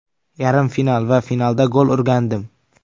Yarim final va finalda gol urgandim.